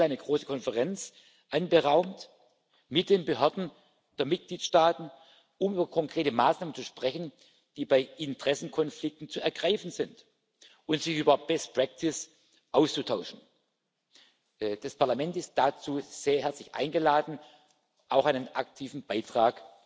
10. April eine große Konferenz anberaumt mit den Behörden der Mitgliedstaaten, um über konkrete Maßnahmen zu sprechen, die bei Interessenkonflikten zu ergreifen sind, und sich über Best Practice auszutauschen. Das Parlament ist dazu sehr herzlich eingeladen, auch einen aktiven Beitrag